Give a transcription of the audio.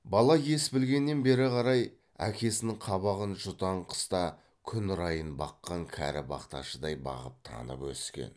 бала ес білгеннен бері қарай әкесінің қабағын жұтаң қыста күн райын баққан кәрі бақташыдай бағып танып өскен